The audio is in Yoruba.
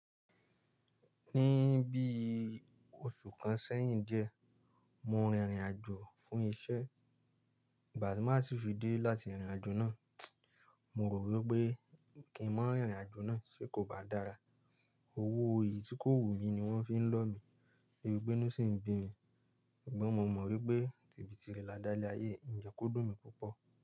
Ní bí i oṣù kan sẹ́yìn díẹ̀, mo rin ìrìn àjò fún iṣẹ́. Igba tí màá sì fi dé láti ìrìn àjò náà, mo rò wí pé kí n máa rìn ìrìn àjò náà ṣe kò bá dára. Owó èyí tí kò wù mí ni wọ́n fi ń lọ́ mi, de bi pe inú sì ń bí mi. Ṣùgbọ́n mo mọ̀ wípé tibi tirè lá dá ilé ayé, mi jẹ́ kò dùn mí púpọ̀.